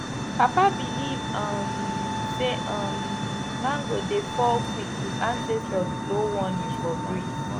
papa believe um say um mango dey fall quick if ancestors blow warning for breeze